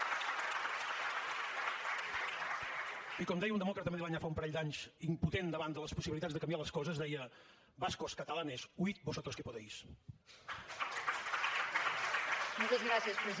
i com deia un demòcrata madrileny ara fa un parell d’anys impotent davant de les possibilitats de canviar les coses deia vascos catalanes huid vosotros que podéis